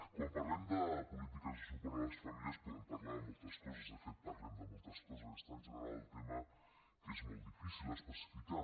quan parlem de polítiques de suport a les famílies podem parlar de moltes coses de fet parlem de moltes coses és tan general el tema que és molt difícil especificar